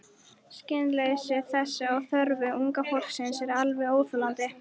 Skilningsleysi þess á þörfum unga fólksins er alveg óþolandi.